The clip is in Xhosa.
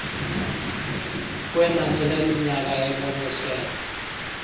kwenani leminyaka eboniswe